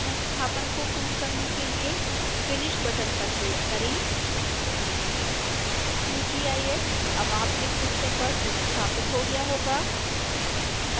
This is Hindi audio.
संस्थापन को पूर्ण करने के लिए finish बटन पर क्लिक करें qgis अब आपके सिस्टम्स पर संस्थापित हो गया होगा